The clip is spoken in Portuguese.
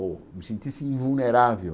ou me sentisse invulnerável.